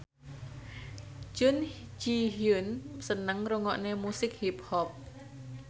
Jun Ji Hyun seneng ngrungokne musik hip hop